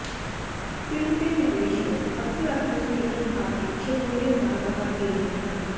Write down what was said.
film ਦੇ ਪਹਿਲੇ show ਅਕਸਰ ਆਪਣੇ ਸਿਰਜਣਹਾਰ ਦੀ ਸ਼ਮੂਲੀਅਤ ਨਾਲ ਬਾਹਰ ਹੀ ਰਹੇ ਹਨ